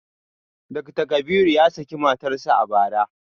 Dakta Kabiru ya saki matarsa ​​a bara